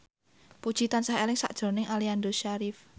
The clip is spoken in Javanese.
Puji tansah eling sakjroning Aliando Syarif